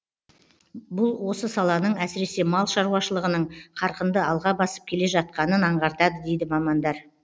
бұл осы саланың әсіресе мал шаруашылығының қарқынды алға басып келе жатқанын аңғартады дейді мамандар